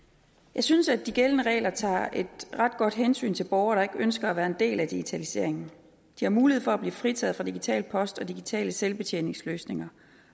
jeg synes at de gældende regler tager et ret godt hensyn til borgere der ikke ønsker at være en del af digitaliseringen de har mulighed for at blive fritaget fra digital post og digitale selvbetjeningsløsninger